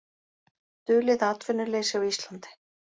Dulið atvinnuleysi á Íslandi